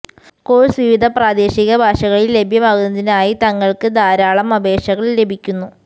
course വിവിധ പ്രാദേശിക ഭാഷകളിൽ ലഭ്യമാക്കുന്നതിനായി തങ്ങൾക്ക് ധാരാളം അപേക്ഷകൾ ലഭിക്കുന്നു